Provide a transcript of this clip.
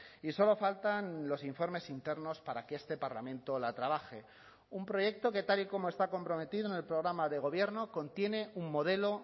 y solo faltan los informes internos para que este parlamento la trabaje un proyecto que tal y como está comprometido en el programa de gobierno contiene un modelo